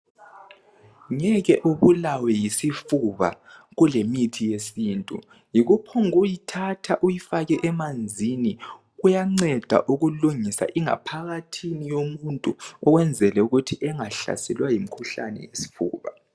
Ngeke ubulawe yisifuba kulemithi yesintu yikuphokuyithatha uyifake emanzini kuyanceda ukulungisa ingaphakathi yomuntu ukwenzela ukuthi engahlaselwa yimikhuhlane yesifuba.